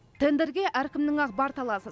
тендерге әркімнің ақ бар таласы